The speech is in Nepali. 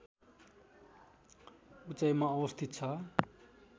उचाइमा अवस्थित छ